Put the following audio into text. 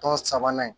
Tɔ sabanan